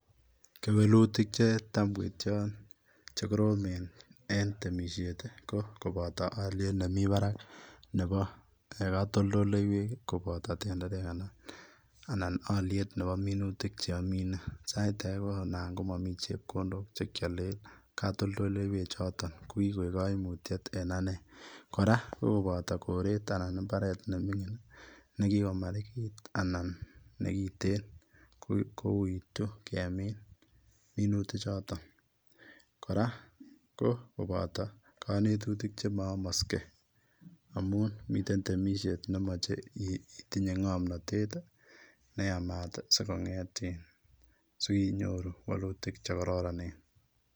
Kewelutik che taam koityaan chekoromen en temisiet ko kobataa aliet nemii Barak nebo katoltoleiwek kobataa tenderek anan aliet nebo minutik che amine sait age anan komamii chepkondok chekyaleen katoltoleiwek chotoon ko ko koeg kaimutiet en ane kora ko kobataa koret anan ko mbaret ne mingin nekikomarikiit anan nekiteen kowuitu kemiin minitunik chotoon kora ko kobataa kanetutik chemayamaksei amuun miten temisiet ne yachei itinye nga'mnatet ne yamaat sinyoruu walutiik che kororoneen.